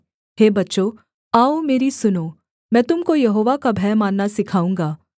हे बच्चों आओ मेरी सुनो मैं तुम को यहोवा का भय मानना सिखाऊँगा